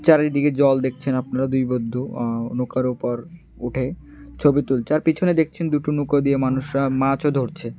চারিদিকে জল দেখছেন আপনারা দুই বন্ধু আ নৌকার উপর উঠে ছবি তুলছে আর পিছনে দেখছেন দুটো নৌকো দিয়ে মানুষরা মাছও ধরছে।